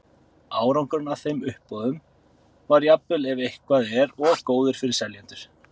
Árangurinn af þeim uppboðum var jafnvel ef eitthvað er of góður fyrir seljendur.